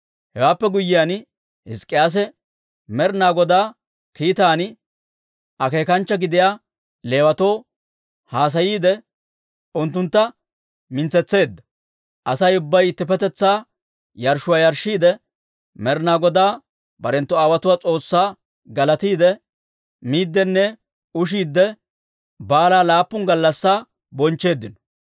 Hewaappe guyyiyaan, Hizk'k'iyaase Med'inaa Godaa kiitan akeekanchcha gidiyaa Leewatoo haasayiide, unttunttu mintsetseedda. Asay ubbay ittippetetsaa yarshshuwaa yarshshiidde, Med'inaa Godaa barenttu aawotuwaa S'oossaa galatiidde, miiddinne ushiidde, baalaa laappun gallassi bonchcheeddino.